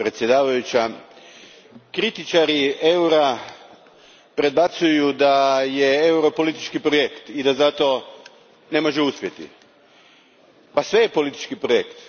Gospođo predsjednice, kritičari eura predbacuju da je euro politički projekt i da zato ne može uspjeti. Pa sve je politički projekt.